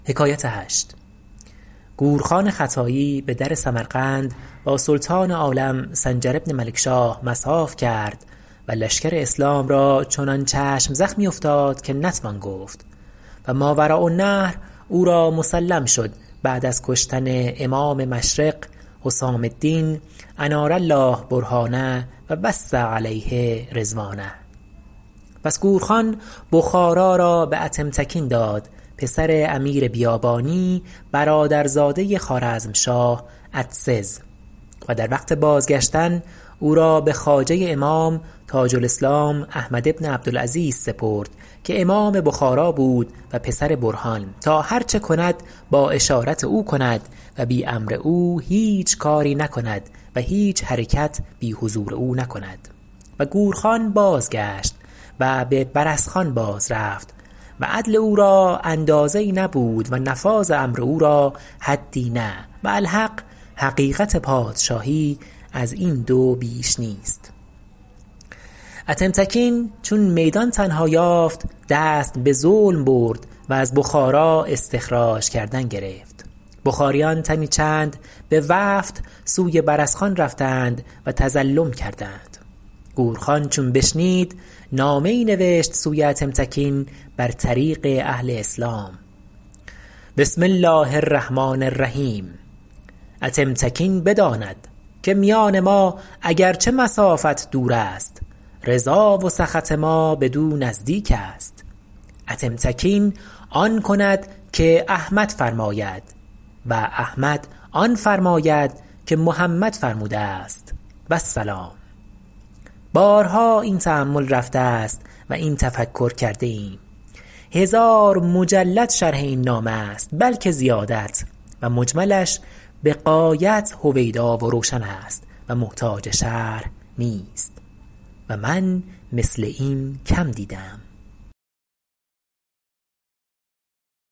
گور خان خطایی به در سمرقند با سلطان عالم سنجر بن ملکشاه مصاف کرد و لشکر اسلام را چنان چشم زخمی افتاد که نتوان گفت و ماوراءالنهر او را مسلم شد بعد از کشتن امام مشرق حسام الدین انار الله برهانه و وسع علیه رضوانه پس گور خان بخارا را به اتمتکین داد پسر امیر بیابانی برادرزاده خوارزمشاه اتسز و در وقت بازگشتن او را به خواجه امام تاج الاسلام احمد بن عبدالعزیز سپرد که امام بخارا بود و پسر برهان تا هر چه کند با اشارت او کند و بی امر او هیچ کاری نکند و هیچ حرکت بی حضور او نکند و گور خان بازگشت و به برسخان باز رفت و عدل او را اندازه ای نبود و نفاذ امر او را حدی نه و الحق حقیقت پادشاهی از این دو بیش نیست اتمتکین چون میدان تنها یافت دست به ظلم برد و از بخارا استخراج کردن گرفت بخاریان تنی چند به وفد سوی برسخان رفتند و تظلم کردند گور خان چون بشنید نامه ای نوشت سوی اتمتکین بر طریق اهل اسلام بسم الله الرحمن الرحیم اتمتکین بداند که میان ما اگر چه مسافت دور است رضا و سخط ما بدو نزدیک است اتمتکین آن کند که احمد فرماید و احمد آن فرماید که محمد فرموده است و السلام بارها این تأمل رفته است و این تفکر کرده ایم هزار مجلد شرح این نامه است بلکه زیادت و مجملش به غایت هویدا و روشن است و محتاج شرح نیست و من مثل این کم دیده ام